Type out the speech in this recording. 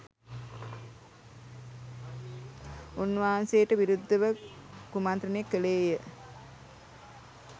උන්වහන්සේට විරුද්ධව කුමන්ත්‍රණය කළේ ය.